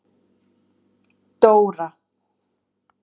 Dóra